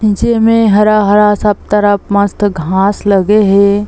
नीचे में हरा-हरा सब तरफ मस्त घास लगे हे।